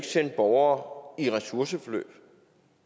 sende borgere i ressourceforløb